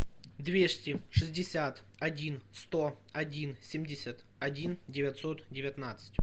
двести шестьдесят один сто один семьдесят один девятьсот девятнадцать